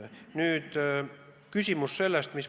Nii on kokku lepitud.